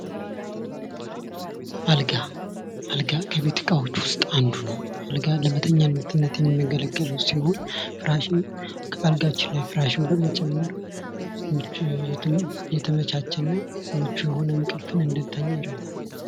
አልጋ አልጋ ከቤት ዕቃዎች ውስጥ አንዱ ነው። አልጋ ለመኝታነት የሚያገለግል ሲሆን ከአልጋችን ላይ ፍራሹን በመጨመር የተመቻቸ እንቅልፍን እንዲተኛ ያደርጋል።